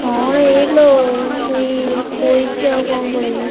କଣ ଏଇ ଲୋ ଏଇ ଶୋଇଛି